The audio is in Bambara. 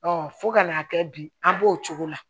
fo ka n'a kɛ bi an b'o cogo la